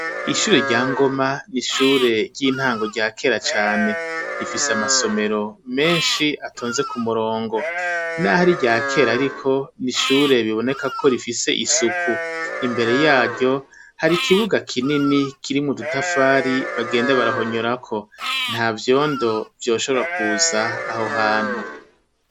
ishure rya Ngoma n' ishure ry' intango rya kera cane, rifis' amasomero mensh'atonze k' umurongo, nah' ar' irya ker' ariko n' ishure ribonekako rifis' isuku, imbere yaryo har' ikibuga kinini kirimw' udutafari bagenda barahonyorako ntavyondo vyoshobora kuz' aho hantu.